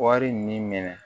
Wari nin minɛ